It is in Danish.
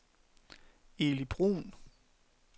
Eli Bruun